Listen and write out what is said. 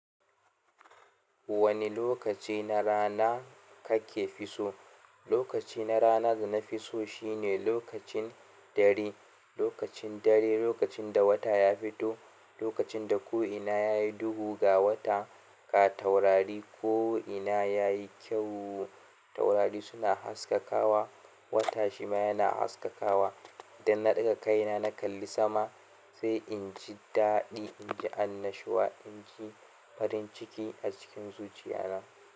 Wani lokaci na rana kake fi so? Lokaci na rana da na fi so shine lokacin dare. Lokacin dare, lokacin da wata ya fito, lokacin da ko'ina yayi duhu ga wata, ka taurari ko'ina yayi kyau taurari suna haskakawa, wata shi ma yana haskakawa. Idan na ɗaga kaina na kalli sama, sai in ji daɗi, in ji annashuwa, in ji farin ciki a cikin zuciya na.